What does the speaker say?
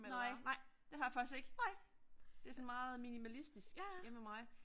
Nej det har jeg faktisk ikke. Det er sådan meget minimalistisk hjemme ved mig